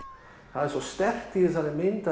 það er svo sterkt í þessari mynd